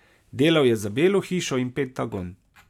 Delal je za Belo hišo in Pentagon.